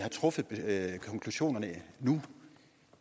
at have konklusionen nu